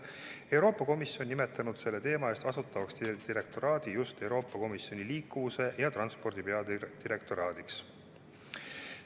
Euroopa Komisjon on selle teema eest vastutava direktoraadi nimetanud Euroopa Komisjoni liikuvuse ja transpordi peadirektoraadiks.